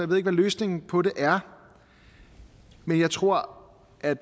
ved ikke hvad løsningen på det er men jeg tror at